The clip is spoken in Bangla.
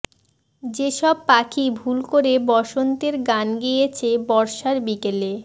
যে সব পাখি ভুল করে বসন্তের গান গেয়েছে বর্ষার বিকেলে